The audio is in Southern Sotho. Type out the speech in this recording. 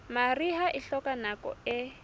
mariha e hloka nako e